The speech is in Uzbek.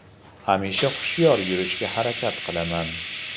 Hamisha hushyor yurishga harakat qilaman.